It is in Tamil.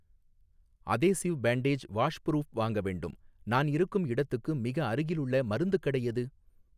அதேசிவ் பேன்டேஜ் வாஷ்புரூஃப் வாங்க வேண்டும், நான் இருக்கும் இடத்துக்கு மிக அருகிலுள்ள மருந்துக் கடை எது?